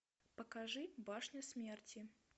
покажи башня смерти